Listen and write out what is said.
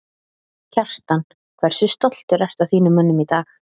Kjartan: Hversu stoltur ertu að þínum mönnum í dag?